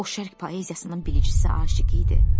O şərq poeziyasının bilicisi aşiqi idi.